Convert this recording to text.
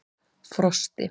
Frosti